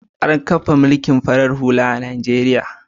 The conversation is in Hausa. An kafa mulkin farar hula a Najeriya.